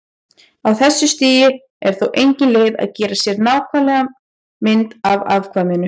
Á þessu stigi er þó engin leið að gera sér nákvæma mynd af afkvæminu.